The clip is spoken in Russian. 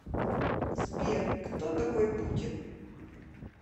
сбер кто такой путин